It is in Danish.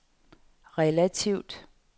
relativt